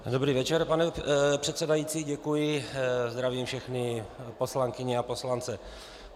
Dobrý večer pane předsedající, děkuji, zdravím všechny poslankyně a poslance.